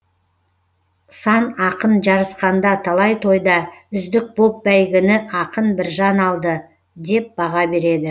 сан ақын жарысқанда талай тойда үздік боп бәйгіні ақын біржан алды деп баға береді